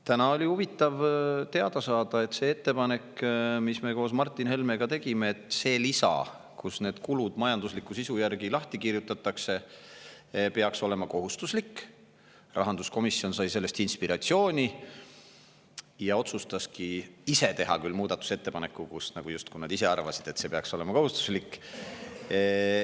Täna oli huvitav teada saada, et sellest ettepanekust, mis me koos Martin Helmega tegime – nimelt, et see lisa, kus kulud majandusliku sisu järgi lahti kirjutatakse, peaks olema kohustuslik –, sai rahanduskomisjon inspiratsiooni ja otsustaski teha muudatusettepaneku, küll nii, justkui nad ise arvaksid, et see peaks olema kohustuslik.